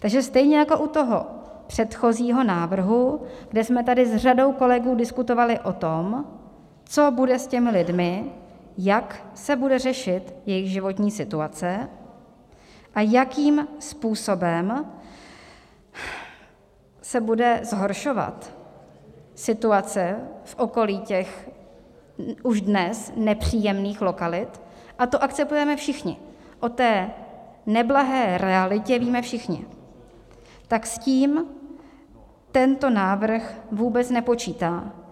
Takže stejně jako u toho předchozího návrhu, kde jsme tady s řadou kolegů diskutovali o tom, co bude s těmi lidmi, jak se bude řešit jejich životní situace a jakým způsobem se bude zhoršovat situace v okolí těch už dnes nepříjemných lokalit, a to akceptujeme všichni, o té neblahé realitě víme všichni, tak s tím tento návrh vůbec nepočítá.